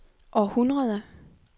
århundrede